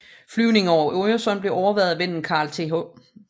Flyvningen over Øresund blev overværet af vennen Carl Th